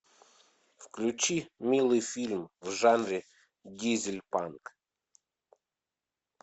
включи милый фильм в жанре дизель панк